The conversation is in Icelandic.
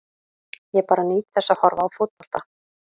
Ég bara nýt þess að horfa á fótbolta.